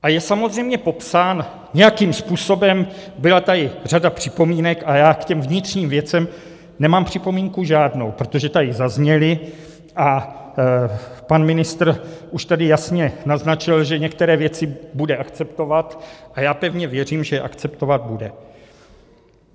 A je samozřejmě popsán nějakým způsobem, byla tady řada připomínek, a já k těm vnitřním věcem nemám připomínku žádnou, protože tady zazněly a pan ministr už tady jasně naznačil, že některé věci bude akceptovat, a já pevně věřím, že je akceptovat bude.